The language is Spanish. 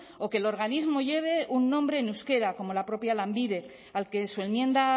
o que el organismo lleve un nombre en euskera como la propia lanbide al que su enmienda